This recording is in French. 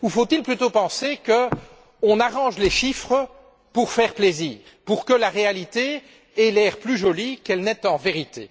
Ou faut il plutôt penser qu'on arrange les chiffres pour faire plaisir, pour que la réalité ait l'air plus jolie qu'elle ne l'est en vérité.